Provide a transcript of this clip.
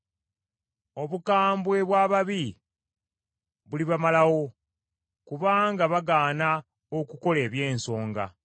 Obukambwe bw’ababi bulibamalawo, kubanga bagaana okukola eby’ensonga.